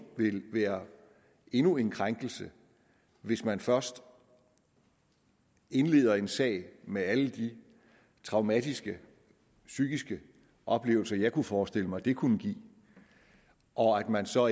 vil være endnu en krænkelse hvis man først indleder en sag med alle de traumatiske psykiske oplevelser jeg kunne forestille mig det kunne give og at man så